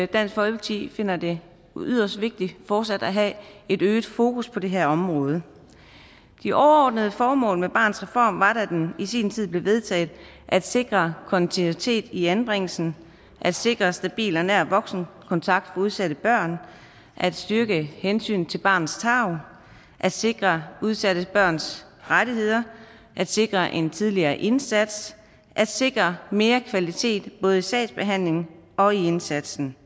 dansk folkeparti finder det yderst vigtigt fortsat at have et øget fokus på det her område de overordnede formål med barnets reform var da den i sin tid blev vedtaget at sikre kontinuitet i anbringelsen at sikre stabil og nær voksenkontakt for udsatte børn at styrke hensynet til barnets tarv at sikre udsatte børns rettigheder at sikre en tidligere indsats at sikre mere kvalitet både i sagsbehandlingen og i indsatsen